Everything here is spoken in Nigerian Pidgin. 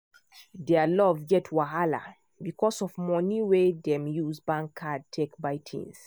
their love get wahala because of money wey dem use bank card take buy things.